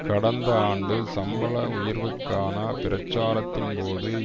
கடந்த ஆண்டு சம்பள உயர்வுக்கான பிரச்சாரத்தின் போது